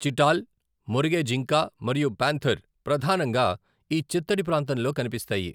చిటాల్, మొరిగే జింక మరియు పాంథర్ ప్రధానంగా ఈ చిత్తడి ప్రాంతంలో కనిపిస్తాయి.